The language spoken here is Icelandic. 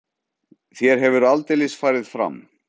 Þér hefur aldeilis farið fram.